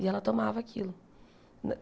E ela tomava aquilo.